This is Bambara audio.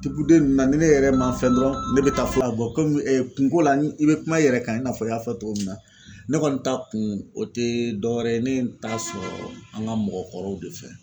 Tipude nunnu na ni ne yɛrɛ ma fɛn dɔn ne be taa fulaw bɔ komi kunko la i be kuma i yɛrɛ kan i n'a fɔ i y'a fɔ togo min na ne kɔni ta kun o te dɔwɛrɛ ye ne t'a sɔrɔ an ga mɔgɔkɔrɔw de fɛ